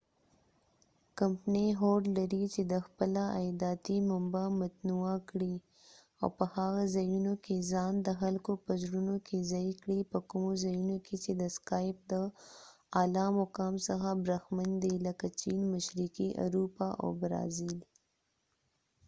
کمپنی هوډ لري چې د خپله عایداتی منبع متنوعه کړي او په هغه ځایونو کې ځان د خلکو په زړونو کې ځای کړي په کومو ځایونو کې چې سکایپ د اعلی مقام څخه برخمن دي لکه چېن مشرقی اروپا او برازیل